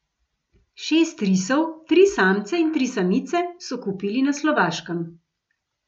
Šest risov, tri samce in tri samice, so kupili na Slovaškem.